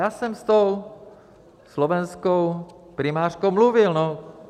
Já jsem s tou slovenskou primářkou mluvil.